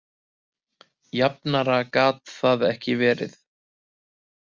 Jafnara gat það ekki verið